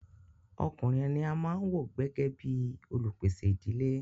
Ọkùnrin ní a máà wò gbẹ́gẹ́ bìí olupèsè ìdílé.